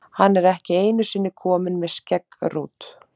Hann er ekki einu sinni kominn með skeggrót!